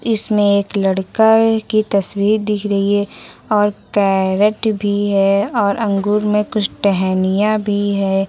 इसमें एक लड़का है की तस्वीर दिख रही है और कैरेट भी है और अंगूर में कुछ टहनियां भी है।